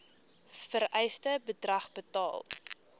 vereiste bedrag betaal